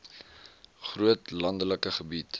groot landelike gebied